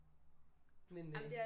Men øh